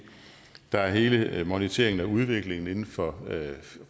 der er hele moniteringen af udviklingen inden for